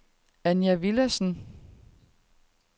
Anja Villadsen